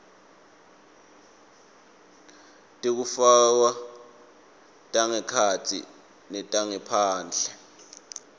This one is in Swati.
tekufakwa tangekhatsi netangephandle